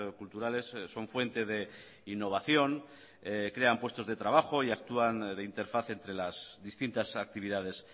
culturales son fuente de innovación crean puestos de trabajo y actúan de interface entre las distintas actividades